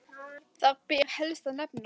Þar ber helst að nefna